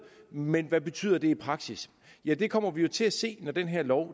men hvad betyder det i praksis ja det kommer vi jo til at se når den her lov